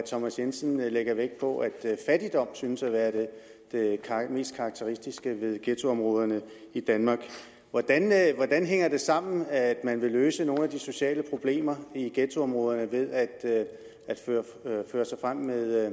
thomas jensen lægger vægt på at fattigdom synes at være det mest karakteristiske ved ghettoområderne i danmark hvordan hænger det sammen med at man vil løse nogle af de sociale problemer i ghettoområderne ved at føre sig frem med